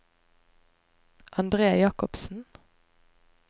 Andre Jacobsen